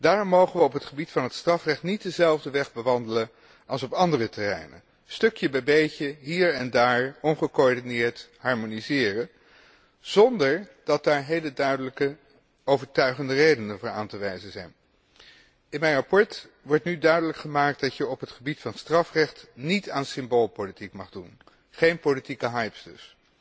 Daarom mogen we op het gebied van het strafrecht niet dezelfde weg bewandelen als op andere terreinen stukje bij beetje, hier en daar ongecoördineerd harmoniseren, zonder dat daar heel duidelijke overtuigende redenen voor aan te wijzen zijn. In mijn verslag wordt nu duidelijk gemaakt dat men op het gebied van strafrecht niet aan symboolpolitiek mag doen, geen politieke hypes dus.